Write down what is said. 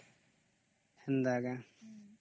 ଆଛା